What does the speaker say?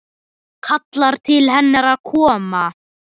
Kallar til hennar að koma.